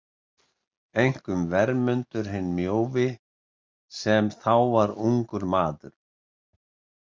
Einkum Vermundur hinn mjóvi sem þá var ungur maður.